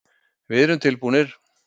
Við erum tilbúnir.